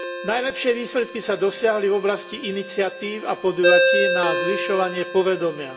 Najlepšie výsledky sa dosiahli v oblasti iniciatív a podujatí na zvyšovanie povedomia.